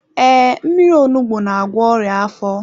Ee, mmírí onugbu n'agwọ ọrịa afọ.